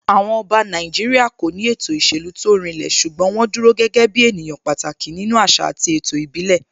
Àwọn Ọba Nàìjíríà kò ní ètò ìṣèlú tó rinlẹ̀ ṣùgbọ́n wọ́n dúró gẹ́gẹ́ ènìyàn pàtàkì nínú àṣà àti ètò ìbílẹ̀